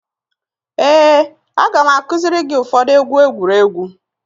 Ee, a ga m akuziri gị ụfọdụ egwu egwuregwu